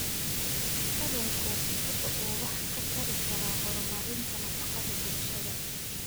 Kalluunku waxa uu wax ka tari karaa horumarinta nafaqada bulshada.